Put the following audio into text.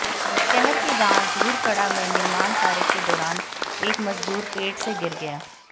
शहर के गांव धूरकड़ा में निर्माण कार्य के दौरान एक मजदूर पेड़ से गिर गया